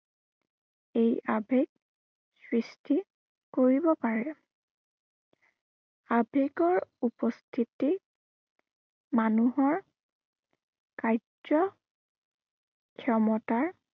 এই আবেগ, সৃষ্টি কৰিব পাৰে। আবেগৰ উপস্থিতি মানুহৰ কাৰ্য ক্ষমতা